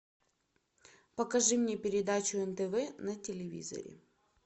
покажи мне передачу нтв на телевизоре